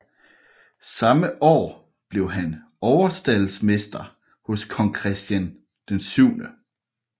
Samme år blev han overstaldmester hos kong Christian 7